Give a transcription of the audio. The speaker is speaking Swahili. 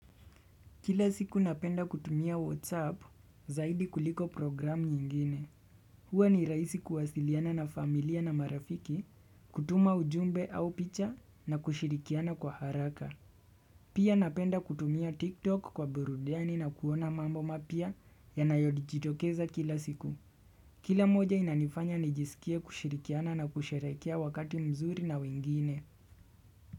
Kila siku napenda kutumia whatsapp zaidi kuliko programu nyingine. Huwa ni rahisi kuwasiliana na familia na marafiki, kutuma ujumbe au picha na kushirikiana kwa haraka. Pia napenda kutumia tiktok kwa burudani na kuona mambo mapya yanayodijitokeza kila siku. Kila moja inanifanya nijisikie kushirikiana na kusherekea wakati mzuri na wengine.